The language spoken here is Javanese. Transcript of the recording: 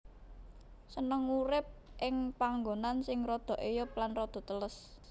Seneng urip ing panggonan sing rada eyub lan rada teles